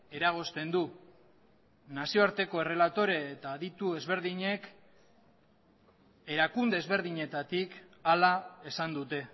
eragozten du nazioarteko errelatore eta aditu ezberdinek erakunde ezberdinetatik hala esan dute